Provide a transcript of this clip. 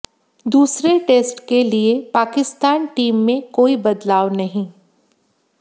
दूसरे टेस्ट के लिए पाकिस्तान टीम में कोई बदलाव नहीं